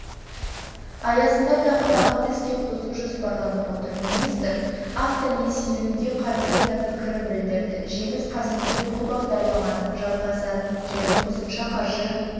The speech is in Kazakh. аясында тағы бағытты іске қосу жоспарланып отыр министр автонесиелеуге қатысты да пікірін білдірді жеңіс қасымбек бұл бағдарламаның жалғасатынын және қосымша қаржы